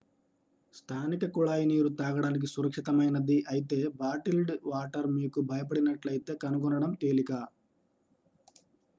స్థానిక కుళాయి నీరు తాగడానికి సురక్షితమైనది అయితే బాటిల్ డ్ వాటర్ మీకు భయపడినట్లయితే కనుగొనడం తేలిక